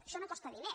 això no costa diners